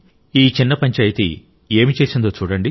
ఈ చిన్న పంచాయితీ ఏమి చేసిందో చూడండి